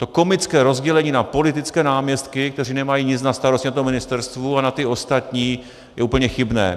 To komické rozdělení na politické náměstky, kteří nemají nic na starosti na tom ministerstvu, a na ty ostatní, je úplně chybné.